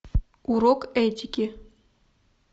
урок этики